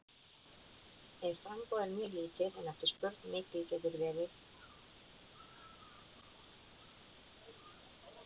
Ef framboð er mjög lítið en eftirspurn mikil getur verðið orðið hátt.